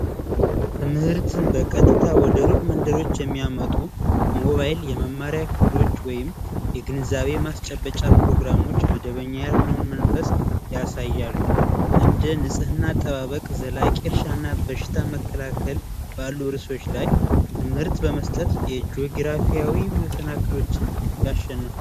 ትምህርትን በቀጥታ ወደ ሩቅ መንደሮች የሚያመጡ ሞባይል የመመሪያ ክፍሎች ወይም የግንዛቤ ማስጨበጫ ፕሮግራሞች መደበኛ ያልሆነውን መንፈስ ያሳያሉ እንደ ንጽህና አጠባበቅ ዘላቂያና በሽታ መከላከል ባሉ ርእሶች ላይ ትምህርት በመስጠት የጆግራፊያዊ መሰናክሎችን ያሸነፉ